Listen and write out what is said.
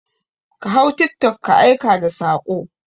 Ka hau tiktok ka aika da saƙo!